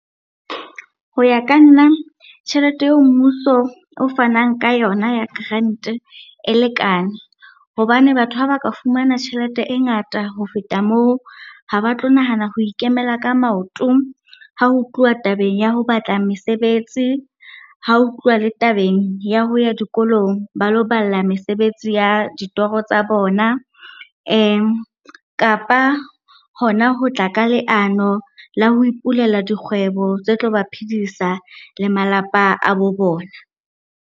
Ho ya ka nna tjhelete eo mmuso o fanang ka yona ya grant-e e lekane. Hobane batho ha ba ka fumana tjhelete e ngata ho feta moo, ha ba tlo nahana ho ikemela ka maoto ha ho tluwa tabeng ya ho batla mesebetsi, ha ho tluwa le tabeng ya ho ya dikolong ba lo balla mesebetsi ya ditorotsa bona. kapa hona ho tla ka leano la ho ipulela dikgwebo tse tlo ba phidisa le malapa a bo bona.